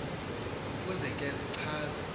ukuze ke zichaze